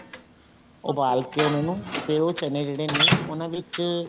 ਉਬਾਲ ਕੇ ਉਹਨਾ ਨੂੰ ਫ਼ੇਰ ਉਹ ਚਨੇ ਜਿਹੜੇ ਨੇ ਉਹਨਾ ਵਿੱਚ